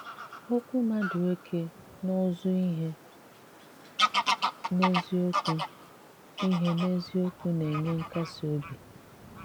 Okwú Madueke n’ụ́zụ́ ihe n’eziokwu ihe n’eziokwu na-enye nkasi obi.